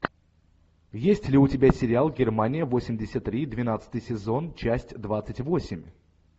есть ли у тебя сериал германия восемьдесят три двенадцатый сезон часть двадцать восемь